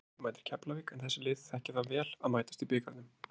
Breiðablik mætir Keflavík en þessi lið þekkja það vel að mætast í bikarnum.